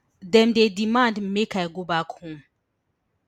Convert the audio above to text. dem dey demand make i go back home